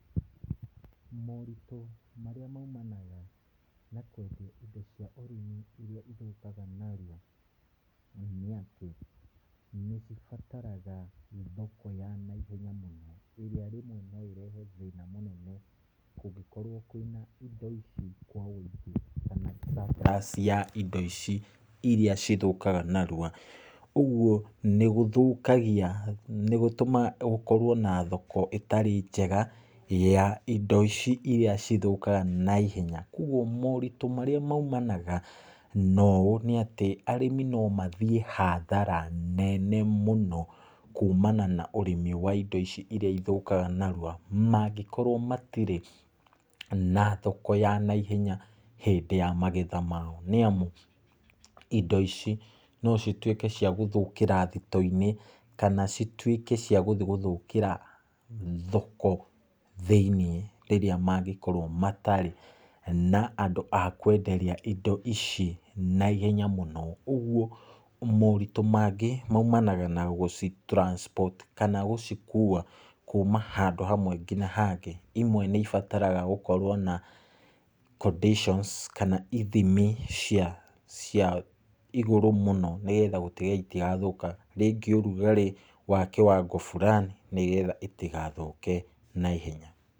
Moritũ marĩa maumanaga na indo cia ũrĩmi iria ithũkaga narua, nĩ atĩ, nĩ cibataraga thoko ya naihenya mũno. Ĩrĩa rĩmwe noĩrehe thĩna mũnene kũngĩkorwo kwĩna indo ici kwaũingĩ, na surplus ya indo ici iria cithũkaga narua. Ũguo nĩ gũthũkagia, nĩgũtaga gũkorwo na thoko ĩtarĩ njega, ya indo ici iria cithũkaga naihenya, koguo moritũ marĩa maumanaga noũũ nĩ atĩ, arĩmi nomathiĩ hathara nene mũno, kuumana na indo ici iria ithũkaga narua, mangĩkorwo matirĩ na thoko ya maihenya hĩndĩ ya magetha mao. Nĩamu, indo ici nocituĩke cia gũthũkĩra thitoinĩ. Kana cituĩke cia gũthiĩ gũthũkĩra thoko thĩinĩ rĩrĩa mangĩkorwo matarĩ na andũ a kwenderia indo ici naihenya mũno. Ũguo, moritũ mangĩ maumanaga na gũci transport, kana gũcikuwa kuuma handũ hamwe nginya hangĩ. Imwe nĩ cibataraga hũkorwo na conditions kana ithimi cia igũrũ mũno nĩgetha gũtigĩrĩra citirathũka. Rĩngĩ ũrugarĩ wa kĩwango fulani nĩgetha citigathũke naihenya.